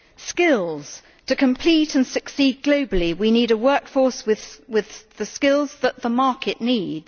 Skills to compete and succeed globally, we need a workforce with the skills that the market needs.